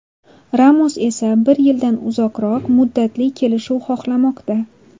Ramos esa bir yildan uzoqroq muddatli kelishuv xohlamoqda.